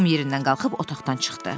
Tom yerindən qalxıb otaqdan çıxdı.